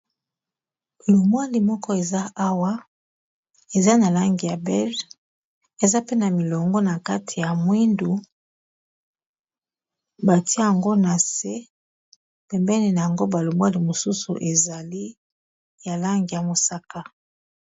Limwali moko eza awa eza na langi ya belge eza pe na milongo na kati ya mwindu batia yango na se pembeni nango ba lomwali mosusu ezali ya langi ya mosaka.